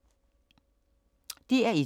DR1